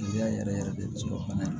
yɛrɛ yɛrɛ de bɛ se ka bana in